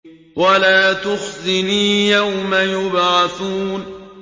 وَلَا تُخْزِنِي يَوْمَ يُبْعَثُونَ